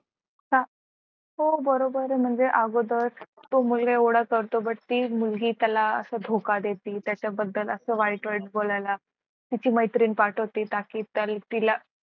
अह हो बरोबर आहे म्हणजे अगोदर तो एवढा करतो पण ती मुलगी त्याला धोका देते त्याच्याबद्दल असं वाईट वाईट बोलायला त्याची मैत्रीण पाठवते ताकी तिला.